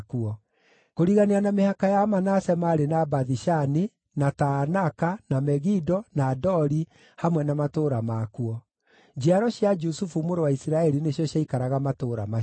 Kũrigania na mĩhaka ya Manase maarĩ na Bathi-Shani, na Taanaka, na Megido, na Dori, hamwe na matũũra makuo. Njiaro cia Jusufu mũrũ wa Isiraeli nĩcio ciaikaraga matũũra macio.